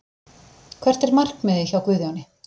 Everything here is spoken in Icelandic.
Hvert er markmiðið hjá Guðjóni?